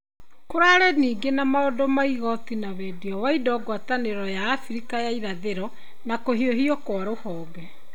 Kũrarĩ ningĩ na maũndũ ma igoti na wendia wa indo ngwatanĩro ya Afrika ya irathĩro na kũhiũhio kwa rũhonge.